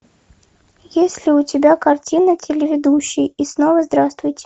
есть ли у тебя картина телеведущий и снова здравствуйте